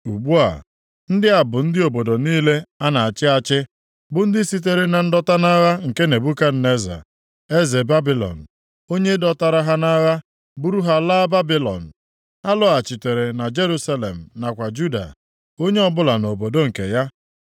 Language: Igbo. Ugbu a, ndị a bụ ndị obodo niile a na-achị achị, bụ ndị sitere na ndọta nʼagha nke Nebukadneza, eze Babilọn, onye dọtara ha nʼagha buru ha laa Babilọn. Ha lọghachitere na Jerusalem nakwa Juda, onye ọbụla nʼobodo nke ha.